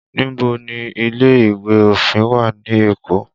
Níbo ni ilé ìwé òfin wà ní Èkó?